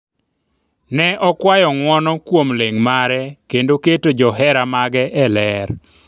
ne okwayo ng'uono kuom ling' mare kendo keto johera mage eler